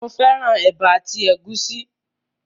Mo fẹ́ràn ẹ̀bà àti ẹ̀gúsí